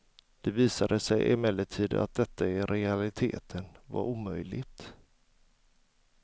Det visade sig emellertid att detta i realiteten var omöjligt.